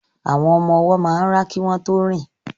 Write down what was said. Àwọn ọmọ ọwọ́ máa ń rá kí wọ́n tó rìn